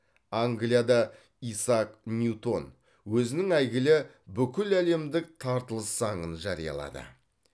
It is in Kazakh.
англияда исаак ньютон өзінің әйгілі бүкіләлемдік тартылыс заңын жариялады